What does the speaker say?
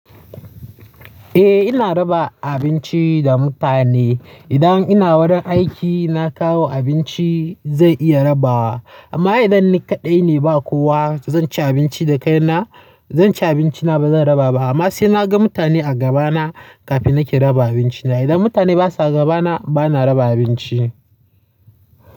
Eh ina raba abinci da mutane. Idan ina wani aiki na kawo abinci zan iya rabawa. Amma idan ni kaɗai ne ba kowa zan ci abinci da kaina, zan ci abinci na ba zan raba ba. Amma sai na ga mutane a gabana kafin nake raba abinci na. Idan mutane basa gabana bana raba abinci.